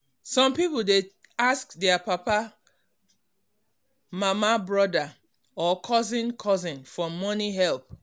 some people um dey ask their papa um mama brother or cousin cousin for money help